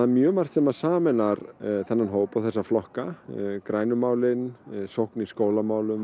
mjög margt sem sameinar þennan hóp og þessa flokka grænu málin sókn í skólamálum